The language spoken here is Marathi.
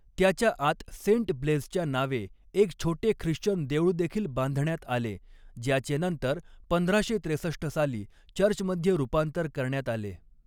त्याच्या आत सेंट ब्लेझच्या नावे एक छोटे ख्रिश्चन देऊळदेखील बांधण्यात आले, ज्याचे नंतर पंधराशे त्रेसष्ट साली चर्चमध्ये रूपांतर करण्यात आले.